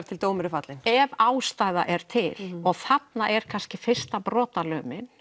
til dómur er fallinn ef ástæða er til og þarna er kannski fyrsta brotalömin